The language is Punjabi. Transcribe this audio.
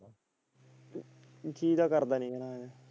ਜੀ ਤਾਂ ਕਰਦਾ ਨੀ ਯਰ।